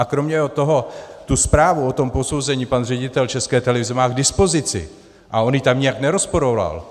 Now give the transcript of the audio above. A kromě toho, tu zprávu o tom posouzení pan ředitel České televize má k dispozici o on ji tam nijak nerozporoval.